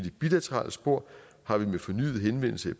bilaterale spor har vi med fornyet henvendelse i